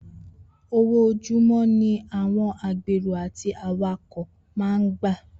Owó ojúmó̩ ni àwo̩n agbèrò àti awakò̩ máa ń gbà